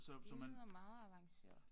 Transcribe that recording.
Det lyder meget avanceret